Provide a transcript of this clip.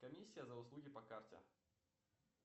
комиссия за услуги по карте